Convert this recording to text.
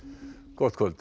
gott kvöld